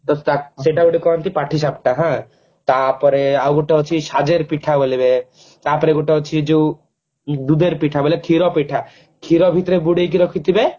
ବସ ସେଟା ଗୋଟେ କହନ୍ତି ପାଠି ସାପଟା ହାଁ ତାପରେ ଆଉ ଗୋଟେ ଅଛି ସାଜର ପିଠା ବୋଲିକେ ତାପରେ ଗୋଟେ ଅଛି ଯୋଉ ଦୁଧର ପିଠା ବୋଇଲେ କ୍ଷୀର ପିଠା କ୍ଷୀର ଭିତରେ ବୁଡେଇକି ରଖିଥିବେ